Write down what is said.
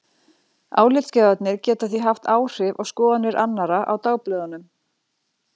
Álitsgjafarnir geta því haft áhrif á skoðanir annarra á dagblöðunum.